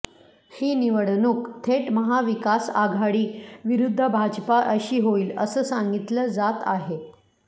ही निवडणूक थेट महाविकास आघाडी विरुद्ध भाजपा अशी होईल असं सांगितलं जात आहे